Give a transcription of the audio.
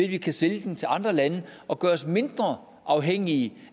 vi kan sælge den til andre lande og gøre os mindre afhængige